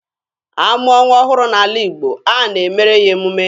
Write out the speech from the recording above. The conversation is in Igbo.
A mụọ nwa ọhụrụ n'ala Igbo, a na-emere ya emume.